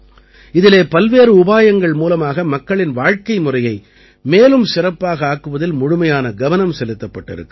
இதிலே பல்வேறு உபாயங்கள் மூலமாக மக்களின் வாழ்க்கைமுறையை மேலும் சிறப்பாக ஆக்குவதில் முழுமையான கவனம் செலுத்தப்பட்டிருக்கிறது